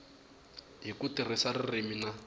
hi ku tirhisa ririmi na